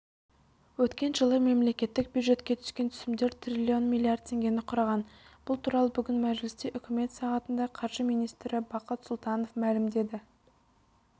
өткен жылы мемлекеттік бюджетке түскен түсімдер триллион миллиард теңгені құраған бұл туралы бүгін мәжілісте үкімет сағатында қаржы министрі бақыт сұлтанов мәлімдеді